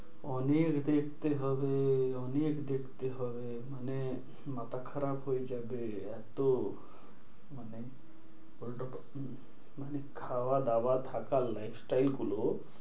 অনেক দেখতে হবে, অনেক দেখতে হবে, মানে মাথা খারাপ হয়ে যাবে। এত মানে মানে খাওয়া দাওয়া থাকার lifestyle গুলো,